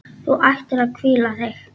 Þú ættir að hvíla þig.